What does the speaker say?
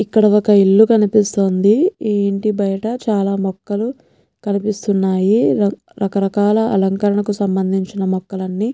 ఇక్కడ ఒక్క ఇల్లు కనిపిస్తుందిఈ ఇంటి బయట చాలా మొక్కలు కనిపిస్తున్నాయి రక్ రకరకాల అలంకరణకు సంబంధించిన మొక్కలన్ని --.